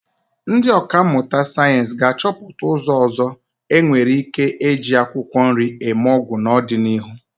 Ndị ọkà mmụta sayensị ga-achọpụta ụzọ ndị ọzọ e nwere ike eji akwụkwọ nri eme ọgwụ n'ọdịnihu.